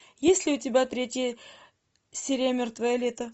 есть ли у тебя третья серия мертвое лето